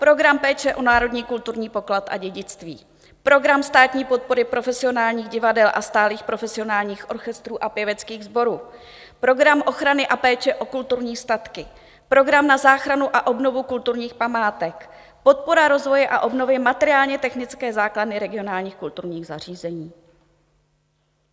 Program péče o národní kulturní poklad a dědictví, program státní podpory profesionálních divadel a stálých profesionálních orchestrů a pěveckých sborů, program ochrany a péče o kulturní statky, program na záchranu a obnovu kulturních památek, podpora rozvoje a obnovy materiálně-technické základny regionálních kulturních zařízení.